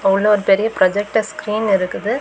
உள்ள ஒரு பெரிய ப்ரொஜெக்டர் ஸ்க்ரீன் இருக்குது.